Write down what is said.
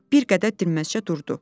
Bir qədər dinməzcə durdu.